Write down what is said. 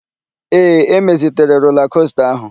Ee, emezitere rola kosta áhụ̀.